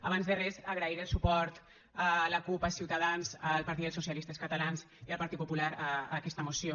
abans de res agrair el suport a la cup a ciutadans al partit dels socialistes catalans i al partit popular a aquesta moció